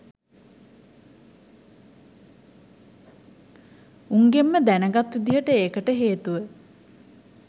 උන්ගෙන්ම දැනගත් විදිහට ඒකට හේතුව